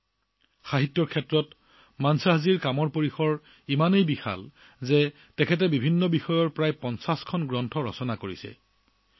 মনছাজীৰ সাহিত্যৰ ক্ষেত্ৰত কৰা কাৰ্যকলাপ ইমানেই বিশাল যে তেওঁৰ ৰচনাৰ কমেও ৫০টা সংস্কৰণ সংৰক্ষিত হৈ আছে